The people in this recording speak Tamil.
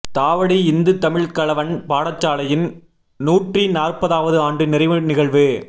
தாவடி இந்து தமிழ் கலவன் பாடசாலையின் நூற்றி நாற்பதாவது ஆண்டு நிறைவு நிகழ்வு